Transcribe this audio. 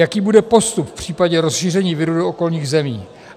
Jaký bude postup v případě rozšíření viru do okolních zemí?